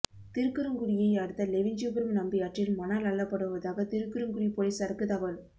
திருக்குறுங்குடியை அடுத்த லெவிஞ்சிபுரம் நம்பியாற்றில் மணல் அள்ளப்படுவதாக திருக்குறுங்குடி போலீஸாருக்கு தகவல்